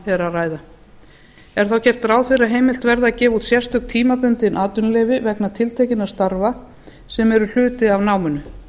að ræða er þá gert ráð fyrir að heimilt verði að gefa út sérstök tímabundin atvinnuleyfi vegna tiltekinna starfa sem eru hluti af náminu